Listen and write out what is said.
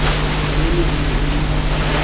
leno e ne e le